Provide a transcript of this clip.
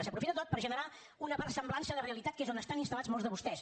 s’aprofita tot per generar una versemblança de realitat que és on estan instal·lats molts de vostès